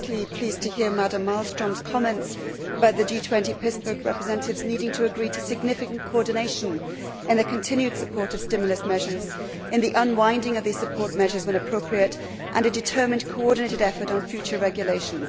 I was particularly pleased to hear Mrs Malmström's comments about the G20 Pittsburgh representatives needing to agree to significant coordination in the continued support of stimulus measures, in the unwinding of these support measures when appropriate, and a determined coordinated effort on future regulation.